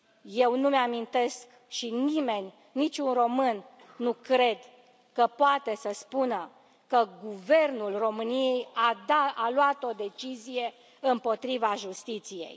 Eu nu îmi amintesc și nimeni, niciun român, nu cred că poate să spună că Guvernul României a luat o decizie împotriva justiției.